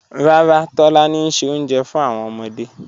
Ràrà, Tolani n ṣẹ ọ̀unjẹ̀ fún awọn ọmọdé